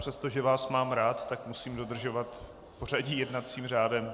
Přestože vás mám rád, tak musím dodržovat pořadí jednacím řádem.